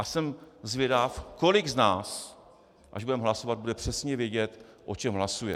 A jsem zvědav, kolik z nás, až budeme hlasovat, bude přesně vědět, o čem hlasuje.